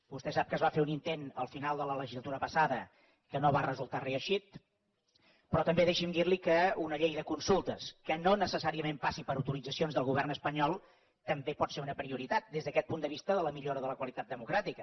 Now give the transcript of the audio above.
vostè sap que es va fer un intent al final de la legislatura passada que no va resultar reeixit però també deixi’m dir li que una llei de consultes que no necessàriament passi per autoritzacions del govern espanyol també pot ser una prioritat des d’aquest punt de vista de la millora de la qualitat democràtica